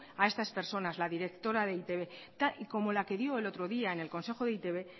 a estas personas la directora de e i te be como la que dio el otro día en el consejo de e i te be